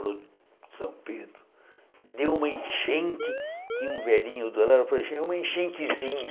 Ele falou, São Pedro, deu uma enchente, tinha um velhinho do lado, falei uma enchentezinha.